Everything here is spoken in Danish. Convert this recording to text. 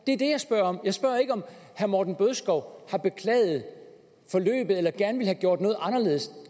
det er det jeg spørger om jeg spørger ikke om herre morten bødskov har beklaget forløbet eller gerne ville have gjort noget anderledes